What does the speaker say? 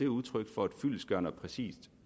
udtryk for et fyldestgørende og præcist